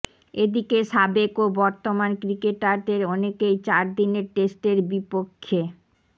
এদিকে সাবেক ও বর্তমান ক্রিকেটারদের অনেকেই চার দিনের টেস্টের বিপক্ষে চার